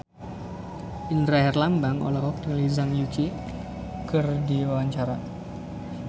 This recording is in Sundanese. Indra Herlambang olohok ningali Zhang Yuqi keur diwawancara